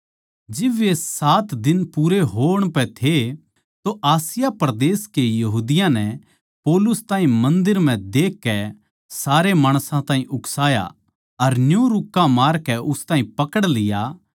जिब वे सात दिन पूरे होण पै थे तो आसिया परदेस के यहूदियाँ नै पौलुस ताहीं मन्दर म्ह देखकै सारे माणसां ताहीं उकसाया अर न्यू रुक्का मारकै उस ताहीं पकड़ लिया